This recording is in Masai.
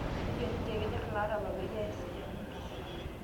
Nejo ninye kenyor ila arabal peyie iasi tolmundus